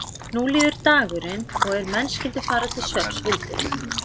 Nú líður dagurinn og er menn skyldu fara til svefns vildi